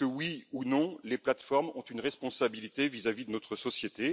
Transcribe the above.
oui ou non, les plateformes ont elles une responsabilité vis à vis de notre société?